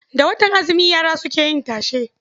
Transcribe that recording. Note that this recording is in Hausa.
Da watan azumi yara suke yin tashe.